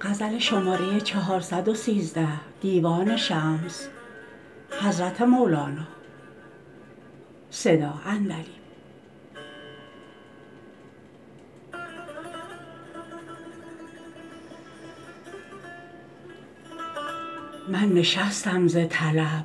من نشستم ز طلب